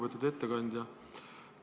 Lugupeetud ettekandja!